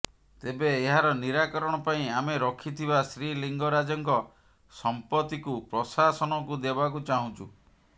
ତେବେ ଏହାର ନିରାକରଣ ପାଇଁ ଆମେ ରଖିଥିବା ଶ୍ରୀଲିଙ୍ଗରାଜଙ୍କ ସମ୍ପତ୍ତିକୁ ପ୍ରଶାସନକୁ ଦେବାକୁ ଚାହୁଛୁ